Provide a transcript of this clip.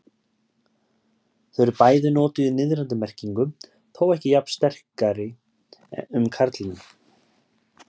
Þau eru bæði notuð í niðrandi merkingu, þó ekki jafn sterkri um karlinn.